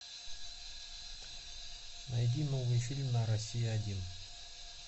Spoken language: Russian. найди новый фильм на россия один